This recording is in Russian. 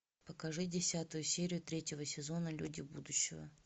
покажи десятую серию третьего сезона люди будущего